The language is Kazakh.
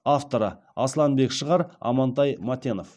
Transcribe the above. авторы асланбек шығыр амантай матенов